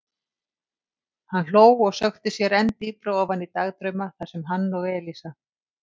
Hann hló og sökkti sér enn dýpra ofan í dagdrauma þar sem hann og Elísa.